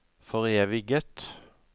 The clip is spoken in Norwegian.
foreviget